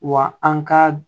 Wa an ka